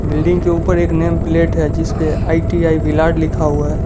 Building के ऊपर एक नेम प्लेट है जिस पर आई_टी_आई भिलाड लिखा हुआ है।